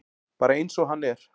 Bara eins og hann er.